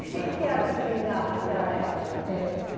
E quem que era o seringal naquela época? Eh